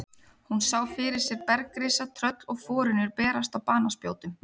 Hún sá fyrir sér bergrisa, tröll og forynjur berast á banaspjótum.